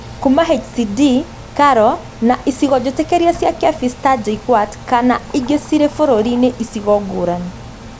Kuuma HCD, KALRO, na icigo jĩtĩkĩrie cia KEPHIS ta JKUAT kana ingĩ cirĩ bũrũri-inĩ icigo ngũrani